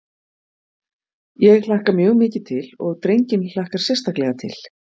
Ég hlakka mjög mikið til og drenginn hlakkar sérstaklega til.